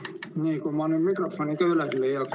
Nii, kui ma nüüd mikrofoni ka üles leiaks.